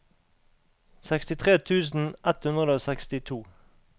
sekstitre tusen ett hundre og sekstito